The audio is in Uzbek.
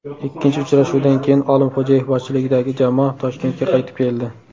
Ikkinchi uchrashuvdan keyin Olimxo‘jayev boshchiligidagi jamoa Toshkentga qaytib keldi.